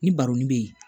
Ni baronin bɛ ye